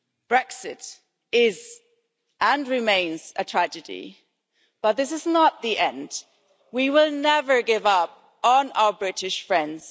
Brexit is and remains a tragedy, but this is not the end. We will never give up on our British friends.